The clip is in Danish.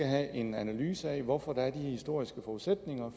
have en analyse af hvorfor der er de historiske forudsætninger